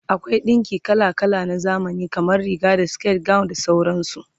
akwai ɗinki kala kala na zamani, kamar Riga da siket, gawon da sauransu